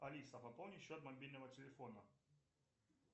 алиса пополни счет мобильного телефона